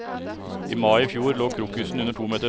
I mai i fjor lå krokusen under to meter snø.